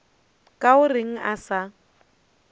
ka o reng a sa